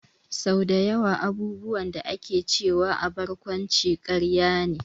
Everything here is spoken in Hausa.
Sau dayawa abubuwan da ake cewa a barkwanci karya ne